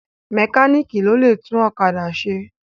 Mẹkáníìkì ló lè tún ọ̀kádà ṣe.